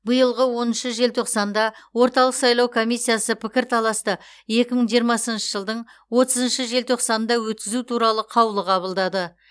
биылдың оныншы желтоқсанда орталық сайлау комиссиясы пікірталасты екі мың жиырмасыншы жылдың отызыншы желтоқсанында өткізу туралы қаулы қабылдады